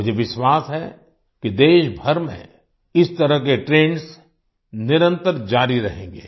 मुझे विश्वास है कि देशभर में इस तरह के ट्रेंड्स निरंतर जारी रहेंगे